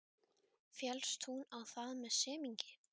Féllst hún á það með semingi.